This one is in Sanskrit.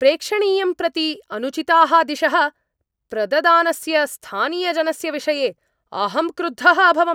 प्रेक्षणीयं प्रति अनुचिताः दिशः प्रददानस्य स्थानीयजनस्य विषये अहं क्रुद्धः अभवम्।